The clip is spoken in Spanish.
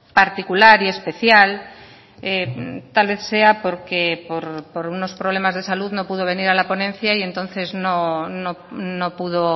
particular y especial tal vez sea porque por unos problemas de salud no pudo venir a la ponencia y entonces no pudo